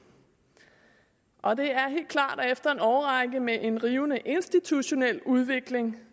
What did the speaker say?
og det er helt klart at efter en årrække med en rivende institutionel udvikling